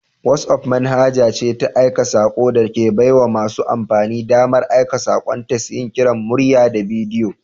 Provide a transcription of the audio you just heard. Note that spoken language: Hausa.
WhatsApp manhaja ce ta aika sako da ke baiwa masu amfani damar aika sakonnin tes, yin kiran murya da bidiyo.